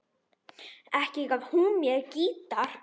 Ekki gaf hún mér gítar.